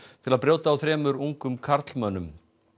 til að brjóta á þremur ungum karlmönnum